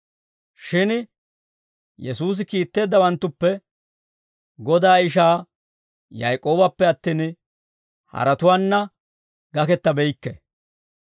Shin Yesuusi kiitteeddawanttuppe Godaa ishaa Yaak'oobappe attin, haratuwaanna gakettabeykki.